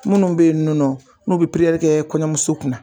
Munnu bɛ ye ninnɔ n'u bɛ kɛ kɔɲɔmuso kunna na.